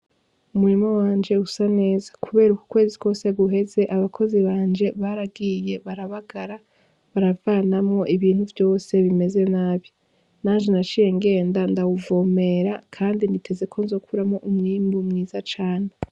Umurimo wanje usa neza, kubera uku kwezi twose guheze abakozi banje baragiye barabagara baravanamwo ibintu vyose bimeze nabi nanje naciye ngenda ndawuvomera, kandi niteze ko nzokuramwo umwimbu mwiza cane.